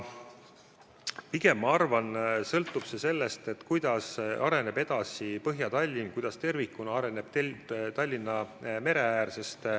Pigem sõltub see sellest, kuidas areneb edasi Põhja-Tallinn, kuidas tervikuna areneb Tallinna mereäär.